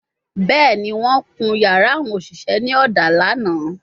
Bẹẹni, wọn kun yara awon oṣiṣẹ ni oda lana